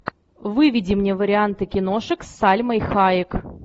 выведи мне варианты киношек с сальмой хайек